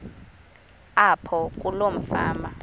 apho kuloo fama